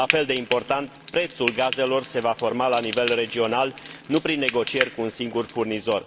La fel de important, prețul gazelor se va forma la nivel regional, nu prin negocieri cu un singur furnizor.